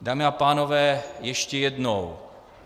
Dámy a pánové, ještě jednou.